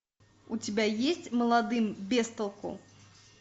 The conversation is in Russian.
у тебя есть молодым без толку